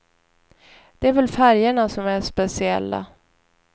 Det är väl färgerna som är speciella.